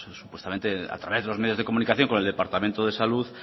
supuestamente a través de los medios de comunicación con el departamento de salud